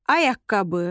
Ayaqqabı